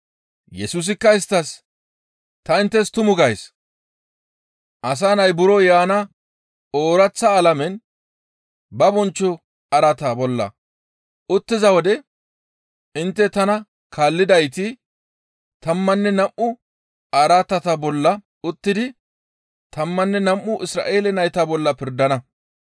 Yesusikka isttas, «Ta inttes tumu gays; Asa Nay buro yaana ooraththa alamen ba bonchcho araata bolla uttiza wode intte tana kaallidayti tammanne nam7u araatata bolla uttidi tammanne nam7u Isra7eele nayta bolla pirdana.